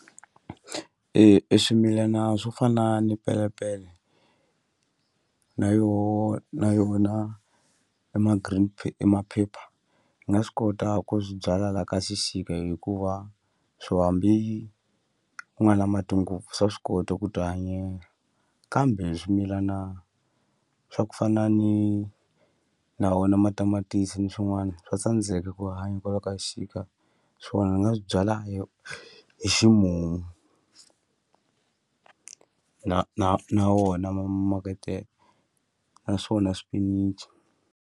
E e swimilana swo fana ni pelepele na yoho na yona e ma-green e maphepha ni nga swi kota ku swi byala la ka xixika hikuva swo hambi ku nga na mati ngopfu swa swi kota ku ti hanyela kambe swimilana swa ku fana ni na wona matamatisi ni swin'wani swa tsandzeka ku hanya kwala ka xixika swona ni nga swi byala hi hi ximumu na na na wona ma maketele naswona swipinichi.